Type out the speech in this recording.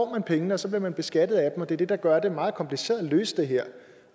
man pengene og så bliver man beskattet af dem og det er det der gør det meget kompliceret at løse det her